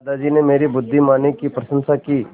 दादाजी ने मेरी बुद्धिमानी की प्रशंसा की